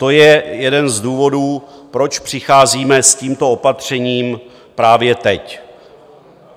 To je jeden z důvodů, proč přicházíme s tímto opatřením právě teď.